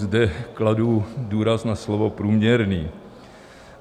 Zde kladu důraz na slovo průměrný.